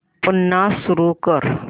पुन्हा सुरू कर